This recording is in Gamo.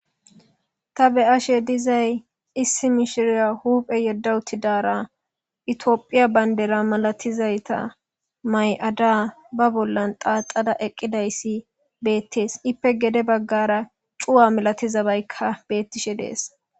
Ta be'ashe dizay issi mishira huphe yedda uttidara etiyophiya bandira malatizayta may'ada ba bollan xaxada eqqidayssi beetees; ippe gede bagaara cu'a malatizabayka beetishe de'es.